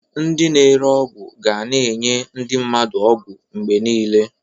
Ndị na-ere ọgwụ ga na-enye ndị mmadụ ọgwụ mgbe niile.